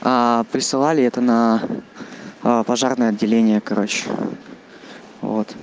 присылали это на а пожарное отделение короче вот